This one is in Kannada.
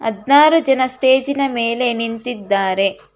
ಹದಿನಾರು ಜನ ಸ್ಟೇಜ್ ನ ಮೇಲೆ ನಿಂತಿದ್ದಾರೆ.